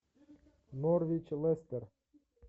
норвич лестер